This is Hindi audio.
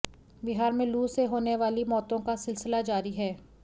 बिहार में लू से होने वाली मौतों का सिलसिला जारी है